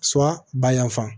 bayanfan